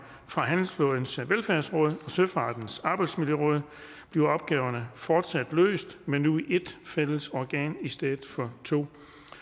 handelsflådens velfærdsråd og søfartens arbejdsmiljøråd bliver opgaverne fortsat løst men nu i et fælles organ i stedet for to